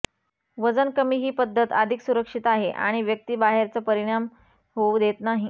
वजन कमी ही पद्धत अधिक सुरक्षित आहे आणि व्यक्ती बाहेरचं परिणाम होऊ देत नाही